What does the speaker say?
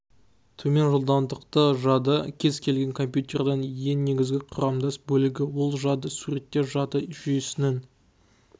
төмен жылдамдықты жады кез келген компьютердің ең негізгі құрамдас бөлігі ол жады суретте жады жүйесінің